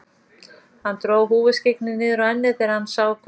Hann dró húfuskyggnið niður á ennið þegar hann sá hverjir þetta voru.